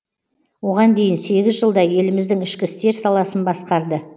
оған дейін сегіз жылдай еліміздің ішкі істер саласын басқарды